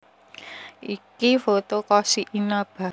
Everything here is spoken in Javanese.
Ini foto Koshi Inaba